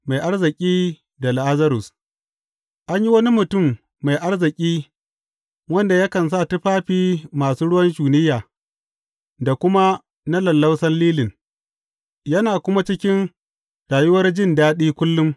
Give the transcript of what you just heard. Mai arziki da Lazarus An yi wani mutum mai arziki wanda yakan sa tufafi masu ruwan shunayya, da kuma na lallausan lilin, yana kuma cikin rayuwar jin daɗi kullum.